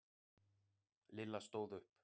Lilla stóð upp.